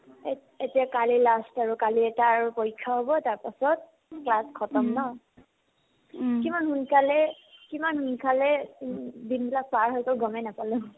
এত এতিয়া কালি last আৰু কালি এটা আৰু পৰীক্ষা হ'ব তাৰপাছত class khatam ন কিমান সোনকালে কিমান সোনকালে দিনবিলাক পাৰ হৈ গ'মে নাপালো ।